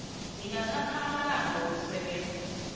ingathatha amalanga wokusebenza